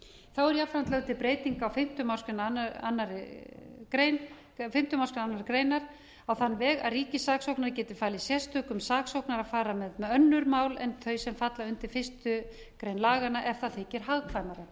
þá er jafnframt lögð til breyting á fimmtu málsgrein annarrar greinar á þann vega að ríkissaksóknari geti falið sérstökum saksóknara að fara með önnur mál en þau sem falla undir fyrstu grein laganna ef það þykir hagkvæmara